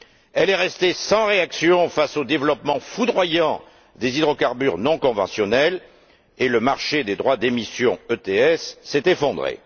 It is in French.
Elle est restée sans réaction face au développement foudroyant des hydrocarbures non conventionnels, et le marché des droits d'émissions s'est effondré.